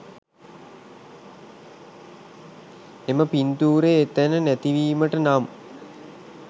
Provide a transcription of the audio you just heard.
එම පින්තූරය එතැන නැතිවීමට නම්